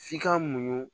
F'i ka muɲu